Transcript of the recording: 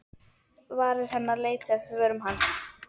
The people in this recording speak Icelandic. Varir hennar leituðu eftir vörum hans.